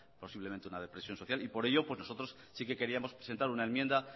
posiblemente una depresión social y por ello nosotros sí que queríamos presentar una enmienda